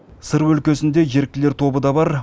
сыр өлкесінде еріктілер тобы да бар